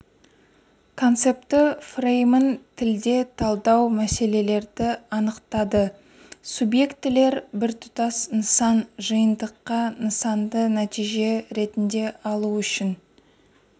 концепті фреймін тілде талдау келесілерді анықтады субъектілер біртұтас нысан жиынтықта нысанды нәтиже ретінде алу үшін